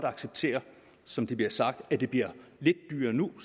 acceptere som det bliver sagt at det bliver lidt dyrere nu